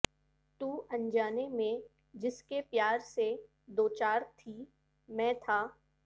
تو انجانے میں جس کے پیار سے دوچار تھی میں تھا